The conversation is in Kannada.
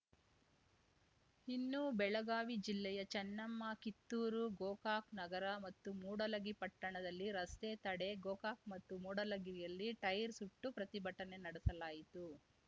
ಇನ್ನು ಬೆಳಗಾವಿ ಜಿಲ್ಲೆಯ ಚೆನ್ನಮ್ಮ ಕಿತ್ತೂರು ಗೋಕಾಕ್ ನಗರ ಮತ್ತು ಮೂಡಲಗಿ ಪಟ್ಟಣದಲ್ಲಿ ರಸ್ತೆ ತಡೆ ಗೋಕಾಕ್ ಮತ್ತು ಮೂಡಲಗಿಯಲ್ಲಿ ಟೈಯರ್ ಸುಟ್ಟು ಪ್ರತಿಭಟನೆ ನಡೆಸಲಾಯಿತು